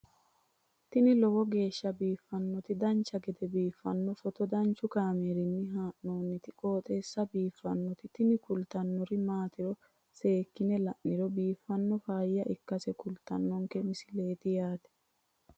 tini lowo geeshsha biiffannoti dancha gede biiffanno footo danchu kaameerinni haa'noonniti qooxeessa biiffannoti tini kultannori maatiro seekkine la'niro biiffannota faayya ikkase kultannoke misileeti yaate